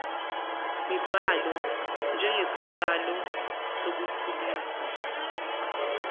mibhalo njengesiqalo sokukhulisa